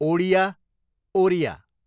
Odia, Oriya